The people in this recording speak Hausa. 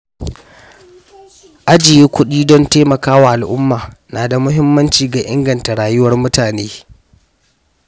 Ajiye kuɗi don taimaka wa al’umma na da muhimmanci ga inganta rayuwar mutane.